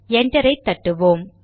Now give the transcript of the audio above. என்டரை தட்டுவோம்